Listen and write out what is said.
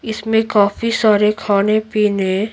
इसमें काफी सारे खाने-पीने --